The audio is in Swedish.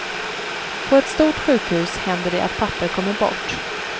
På ett stort sjukhus händer det att papper kommer bort.